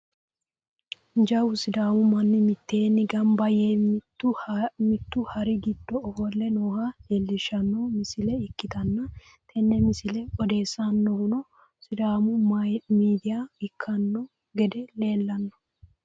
jawu sidaamu manni mitteenni gamba yee mittu hari giddo ofolle nooha leelishshanno misile ikkitanna, tenne misile odeessinohuno sidaamu midiya ikkino gede leelanno.